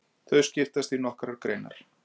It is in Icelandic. Þau skiptast í nokkrar greinar.